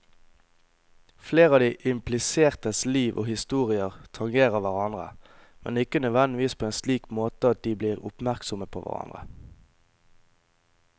Flere av de implisertes liv og historier tangerer hverandre, men ikke nødvendigvis på en slik måte at de blir oppmerksomme på hverandre.